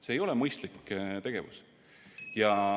See ei ole mõistlik tegevus.